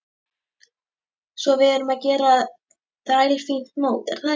Svo við erum að gera þrælfínt mót er það ekki?